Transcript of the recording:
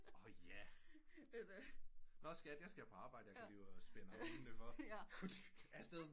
År ja nå skat jeg skal på arbejde ud og spænder hundene for afsted